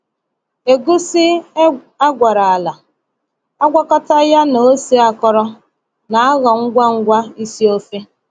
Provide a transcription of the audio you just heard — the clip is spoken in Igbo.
Egusi e gwara ala, agwakọta ya na ose akọrọ, na-aghọ ngwa ngwa isi ofe.